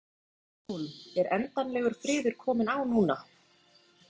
Bryndís Hólm: Er endanlegur friður kominn á núna?